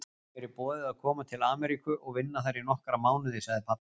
Mér er boðið að koma til Ameríku og vinna þar í nokkra mánuði sagði pabbi.